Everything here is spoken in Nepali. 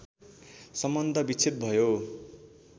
सम्बन्ध विच्छेद भयो